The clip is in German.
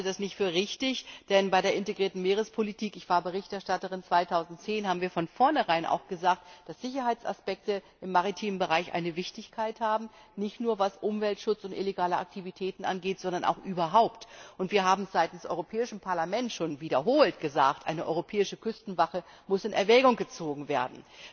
Ich halte das nicht für richtig, denn bei der integrierten Meerespolitik ich war 2010 Berichterstatterin haben wir von vornherein auch gesagt, dass Sicherheitsaspekte im maritimen Bereich von Bedeutung sind, nicht nur was Umweltschutz und illegale Aktivitäten angeht, sondern ganz generell. Und wir haben seitens des Europäischen Parlaments schon wiederholt gesagt, eine europäische Küstenwache muss in Erwägung gezogen werden.